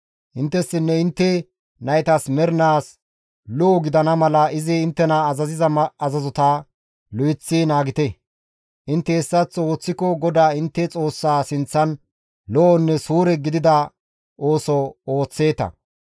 Inttessinne intte naytas mernaas lo7o gidana mala izi inttena azaziza azazota lo7eththi naagite; intte hessaththo ooththiko GODAA intte Xoossaa sinththan lo7onne suure gidida ooso ooththeeta.